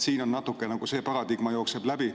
Siin ka nagu see paradigma natuke jookseb läbi.